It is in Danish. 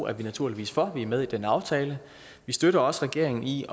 er vi naturligvis for da vi er med i den aftale vi støtter også regeringen i